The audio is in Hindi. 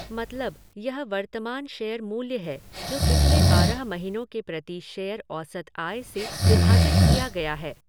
मतलब, यह वर्तमान शेयर मूल्य है जो पिछले बारह महीनों के प्रति शेयर औसत आय से विभाजित किया गया है।